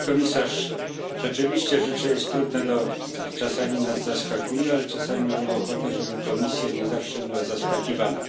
Pani Komisarz, rzeczywiście życie jest trudne i czasami nas zaskakuje, ale czasami mamy ochotę, żeby Komisja nie zawsze była zaskakiwana.